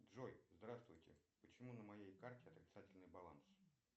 джой здравствуйте почему на моей карте отрицательный баланс